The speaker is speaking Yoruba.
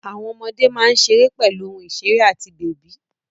Àwọn ọmọdé máa ń ṣeré pẹ̀lú ohun ìṣeré àti bèbí.